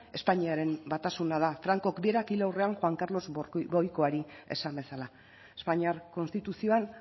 espainiaren batasuna da francok berak hil aurrean juan carlos borboikoari esan bezala espainiar konstituzioan